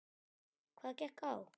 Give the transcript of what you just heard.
Hvað gekk á?